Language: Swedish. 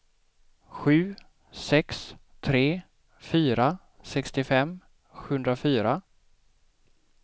sju sex tre fyra sextiofem sjuhundrafyra